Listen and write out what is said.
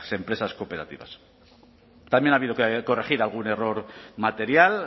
empresas cooperativas también ha habido que corregir algún error material